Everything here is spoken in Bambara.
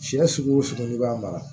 Siyɛ sugu o sugu n'i b'a mara